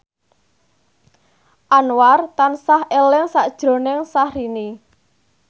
Anwar tansah eling sakjroning Syahrini